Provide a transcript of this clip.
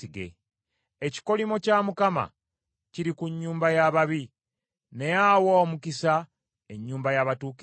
Ekikolimo kya Mukama kiri ku nnyumba y’ababi, naye awa omukisa ennyumba y’abatuukirivu.